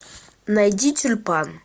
найди тюльпан